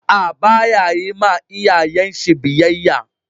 A'a, ba ya yin ma iyayen shi biyyaya.